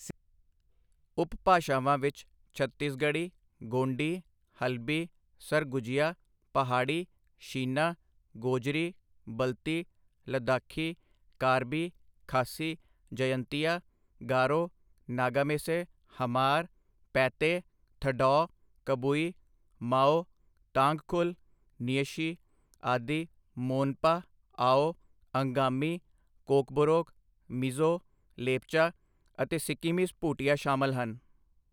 ਉਪਭਾਸ਼ਾਵਾਂ ਵਿੱਚ ਛੱਤੀਸਗੜ੍ਹੀ, ਗੋਂਡੀ, ਹਲਬੀ, ਸਰਗੁਜੀਆ, ਪਹਾੜੀ, ਸ਼ੀਨਾ, ਗੋਜਰੀ, ਬਲਤੀ, ਲੱਦਾਖੀ, ਕਾਰਬੀ, ਖਾਸੀ, ਜਯੰਤੀਆ, ਗਾਰੋ, ਨਗਾਮੇਸੇ, ਹਮਾਰ, ਪੈਤੇ, ਥਡੌਅ, ਕਬੁਈ, ਮਾਓ, ਤਾਂਗਖੁਲ, ਨਿਯਸ਼ੀ, ਆਦਿ, ਮੋਨਪਾ, ਆਓ, ਅੰਗਾਮੀ, ਕੋਕਬੋਰੋਕ, ਮਿਜ਼ੋ, ਲੇਪਚਾ ਅਤੇ ਸਿੱਕੀਮੀਜ ਭੂਟੀਆ ਸ਼ਾਮਲ ਹਨ।